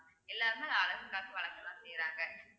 எல்லாருமே அழகுக்காக வளர்க்கதான் செய்யறாங்க